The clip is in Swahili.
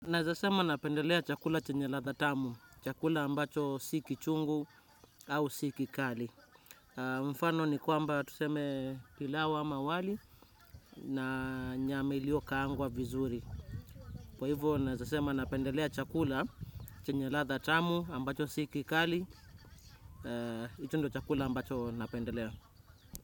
Naezasema napendelea chakula chenye ladha tamu, chakula ambacho si kichungu au si kikali. Mfano ni kwamba tuseme pilau ama wali na nyama ilio kaangwa vizuri. Kwa hivyo naezasema napendelea chakula chenye ladha tamu ambacho si kikali, hii tu ndio chakula ambacho napendelea.